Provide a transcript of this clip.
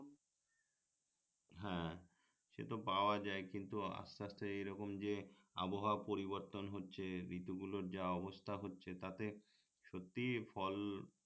হ্যাঁ সেতো পাওয়া যায় কিন্তু আস্তে আস্তে এই রকম যে আবহাওয়া পরিবর্তন হচ্ছে ঋতুগুলোর যা অবস্থা হচ্ছে তাতে সত্যিই ফল